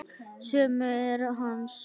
Sumu er hent.